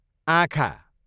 आँखा